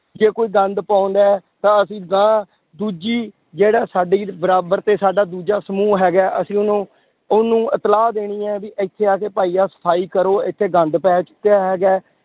ਜੇ ਕੋਈ ਗੰਦ ਪਾਉਂਦਾ ਹੈ ਤਾਂ ਅਸੀਂ ਅਗਾਂਹ ਦੂਜੀ ਜਿਹੜਾ ਸਾਡੀ ਬਰਾਬਰ ਤੇ ਸਾਡਾ ਦੂਜਾ ਸਮੂਹ ਹੈਗਾ ਹੈ, ਅਸੀਂ ਉਹਨੂੰ ਉਹਨੂੰ ਇਤਲਾਹ ਦੇਣੀ ਹੈ ਵੀ ਇੱਥੇ ਆ ਕੇ ਭਾਈ ਆਹ ਸਫ਼ਾਈ ਕਰੋ ਇੱਥੇ ਗੰਦ ਪੈ ਚੁੱਕਿਆ ਹੈਗਾ ਹੈ,